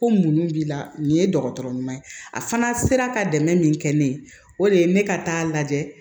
Ko mun b'i la nin ye dɔgɔtɔrɔ ɲuman ye a fana sera ka dɛmɛ min kɛ ne ye o de ye ne ka taa lajɛ